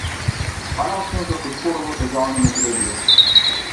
Hvala vsem za podporo v težavnem obdobju.